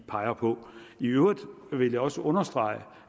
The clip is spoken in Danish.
peger på i øvrigt vil jeg også understrege